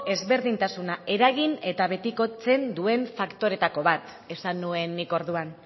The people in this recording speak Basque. ezberdintasuna eragin eta betikotzen duen faktoretako bat esan nuen nik orduan